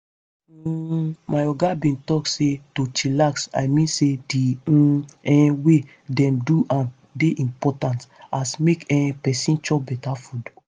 hmm my oga bin talk say to chillax i mean say di um um way dem do am dey impotant as make um peson chop beta food.